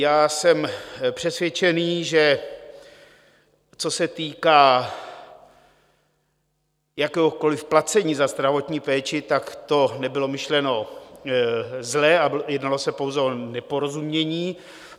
Já jsem přesvědčený, že co se týká jakéhokoliv placení za zdravotní péči, tak to nebylo myšleno zle a jednalo se pouze o neporozumění.